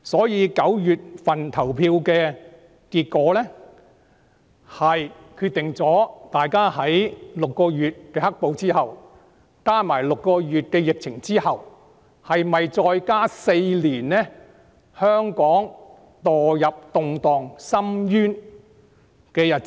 因此 ，9 月立法會選舉的結果將決定大家在經過6個月的"黑暴"、加上6個月的疫情後，會否要香港再經歷4年墮入動盪深淵的日子。